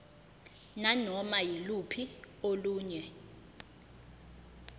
nanoma yiluphi olunye